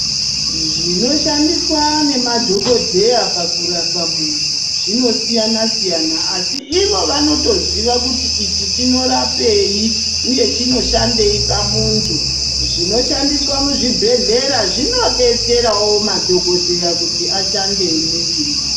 Zvinoshandiswa nemadhokodheya pakurapa muntu zvinosiyana siyana asi ivo vanotoziva kuti ichi chinorapeyi uye chinoshandei pamuntu. Zvinoshandiswa muzvibhedhlera zvinodetserawo madhokodheya kuti ashande nesimba.